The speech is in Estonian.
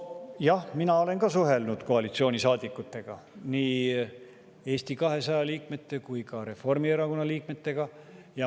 Nojah, mina olen suhelnud ka koalitsioonisaadikutega, nii Eesti 200 kui ka Reformierakonna liikmetega.